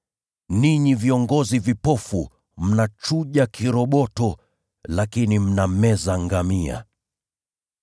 Ninyi viongozi vipofu, mnachuja kiroboto lakini mnameza ngamia!